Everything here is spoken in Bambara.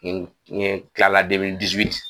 n kila la